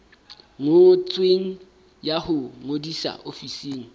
ngotsweng ya ho ngodisa ofising